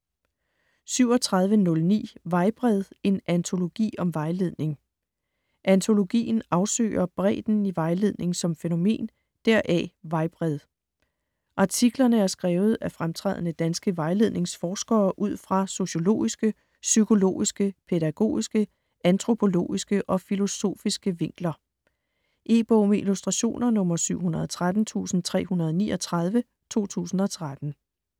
37.09 Vejbred: en antologi om vejledning Antologien afsøger bredden i vejledning som fænomen - deraf: Vejbred. Artiklerne er skrevet af fremtrædende danske vejledningsforskere ud fra sociologiske, psykologiske, pædagogiske, antropologiske og filosofiske vinkler. E-bog med illustrationer 713339 2013.